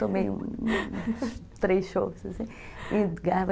Tomei três shops, assim.